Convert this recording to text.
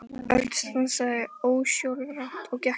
Örn stansaði ósjálfrátt og gekk til baka.